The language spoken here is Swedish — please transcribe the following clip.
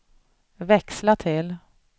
växla till